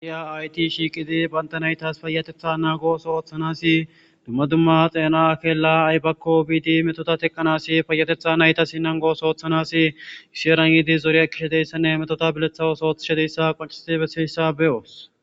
arya ayti shiiqidi banta naytas fayatetha naagoso ooththanasi dumma dumma xeena akeela aybakko biidi metota teqqanasi fayatetha naytasi nangooso ooththanas gisheeran yiidi zorea kishedeyssanne metota biletha osoothshedeyssa qancii beseyssa beyoos